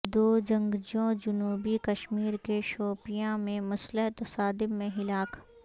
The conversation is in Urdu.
دو جنگجو جنوبی کشمیر کے شوپیان میں مسلح تصادم میں ہلاک